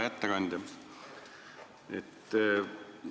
Hea ettekandja!